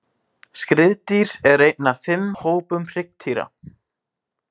Skriðdýr er einn af fimm hópum hryggdýra.